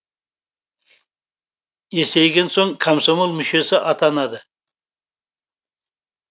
есейген соң комсомол мүшесі атанады